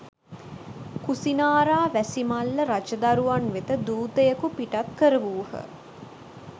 කුසිනාරාවැසි මල්ල රජදරුවන් වෙත දූතයෙකු පිටත් කරවූහ